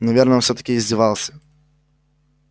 наверное он всё-таки издевался